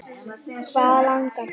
Hvað langar þig?